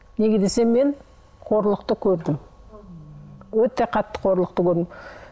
неге десем мен қорлықты көрдім өте қатты қорлықты көрдім